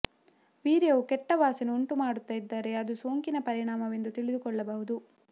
ವೀರ್ಯವು ಕೆಟ್ಟ ವಾಸನೆ ಉಂಟು ಮಾಡುತ್ತಾ ಇದ್ದರೆ ಅದು ಸೋಂಕಿನ ಪರಿಣಾಮವೆಂದು ತಿಳಿದುಕೊಳ್ಳಬಹುದು